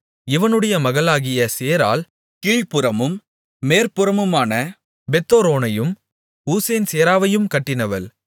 இவனுடைய மகளாகிய சேராள் கீழ்ப்புறமும் மேற்புறமுமான பெத்தொரோனையும் ஊசேன்சேராவையும் கட்டினவள்